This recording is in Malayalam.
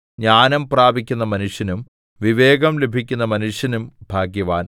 ജ്ഞാനം പ്രാപിക്കുന്ന മനുഷ്യനും വിവേകം ലഭിക്കുന്ന മനുഷ്യനും ഭാഗ്യവാൻ